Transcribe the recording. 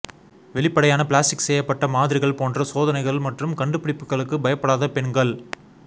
வெளிப்படையான பிளாஸ்டிக் செய்யப்பட்ட மாதிரிகள் போன்ற சோதனைகள் மற்றும் கண்டுபிடிப்புகளுக்கு பயப்படாத பெண்கள்